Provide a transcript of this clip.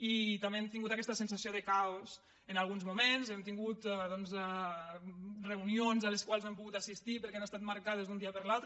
i també hem tingut aquesta sensació de caos en alguns moments hem tingut reunions a les quals no hem po·gut assistir perquè han estat marcades d’un dia per l’altre